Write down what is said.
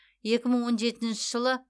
екі мың он жетінші жылы